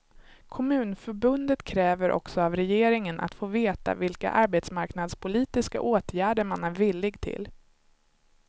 Kommunförbundet kräver också av regeringen att få veta vilka arbetsmarknadspolitiska åtgärder man är villig till.